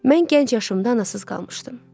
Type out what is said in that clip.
Mən gənc yaşımdan anasız qalmışdım.